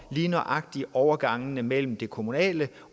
i lige nøjagtig overgangene mellem det kommunale